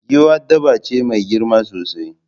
Giwa dabba ce mai girma sosai